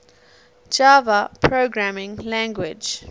java programming language